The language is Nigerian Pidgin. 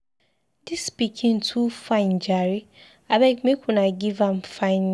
Dis pikin too fine jare, abeg make una give am fine name